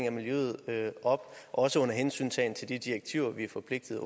af miljøet op også under hensyntagen til direktiver vi er forpligtet